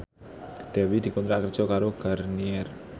Dewi dikontrak kerja karo Garnier